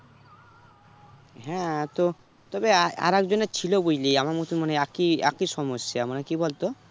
হ্যাঁ তো তবে আ~ আরেক জনের ও ছিল বুঝলি আমার মত মানে একই একই সমস্যা মানে কি বলতো